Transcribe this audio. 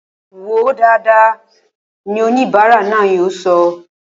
Wòó dáadáa! ni oníbara náà yóò sọ